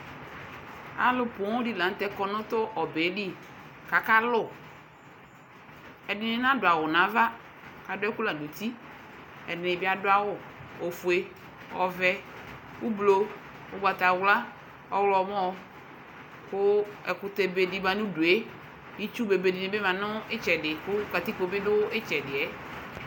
Alʋ pooŋ dɩ la nʋtɛ kɔ nʋ tʋ ɔbɛe li , k'aka lʋ Ɛdɩnɩ nadʋ awʋ n'ava adʋ ɛkʋ la n'uti; ɛdɩnɩ bɩ adʋ awʋ : ofue , ɔvɛ , ʋblʋ , ʋgbatawla , ɔɣlɔmɔ Kʋ ɛkʋtɛ bedɩ ma n'udue, itsu bebe dɩnɩ bɩ ma nʋ ɩtsɛdɩ kʋ katikpo bɩ dʋ ɩtsɛdɩɛ